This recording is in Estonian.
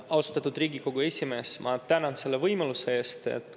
Austatud Riigikogu esimees, ma tänan selle võimaluse eest!